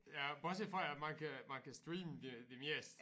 Ja bortset fra at man kan man kan streame det det meste